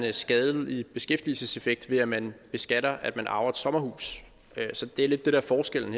en skadelig beskæftigelseseffekt ved at man beskatter at man arver et sommerhus så det er det der er forskellen